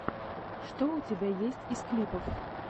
что у тебя есть из клипов